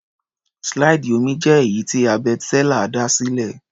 Slide omí jẹ́ èyí tí Herbert Seller dá sílẹ̀.